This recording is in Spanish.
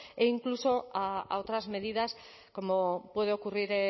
e incluso a otras medidas como puede ocurrir